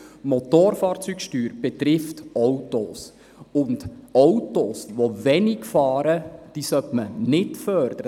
Die Motorfahrzeugsteuer betrifft Autos, und Autos, die wenig fahren, sollte man nicht fördern.